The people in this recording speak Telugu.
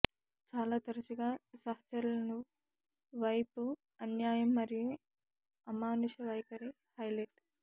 చాలా తరచుగా సహచరులను వైపు అన్యాయం మరియు అమానుష వైఖరి హైలైట్